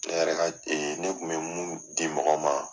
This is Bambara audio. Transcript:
Ne yɛrɛ ka ne kun bɛ mun di mɔgɔw ma.